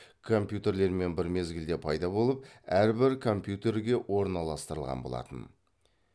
компьютерлермен бір мезгілде пайда болып әрбір компьютерге орналастырылған болатын